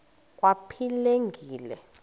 kwaphilingile